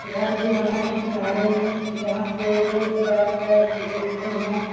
घर भी बना है किनारे में जहाँ से लोग बैठकर देखते है।